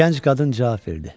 Gənc qadın cavab verdi.